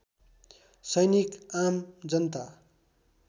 सैनिक आम जनता